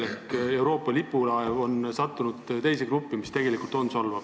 Seega Euroopa lipulaev on sattunud teise gruppi, mis tegelikult on solvav.